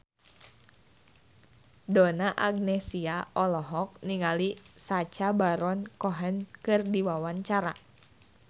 Donna Agnesia olohok ningali Sacha Baron Cohen keur diwawancara